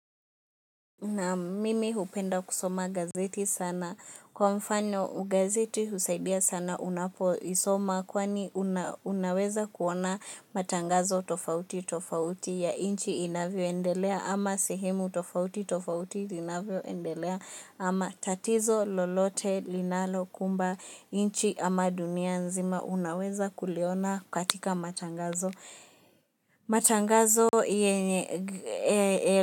Naam mimi hupenda kusoma gazeti sana kwa mfano gazeti husaidia sana unapoisoma kwani unaweza kuona matangazo tofauti tofauti ya nchi inavyoendelea ama sehemu tofauti tofauti inavyoendelea ama tatizo lolote linalokumba nchi ama dunia nzima unaweza kuliona katika matangazo matangazo yenye.